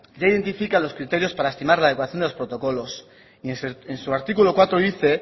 ya identifica los criterios para estimar la adecuación de los protocolos y en su artículo cuatro dice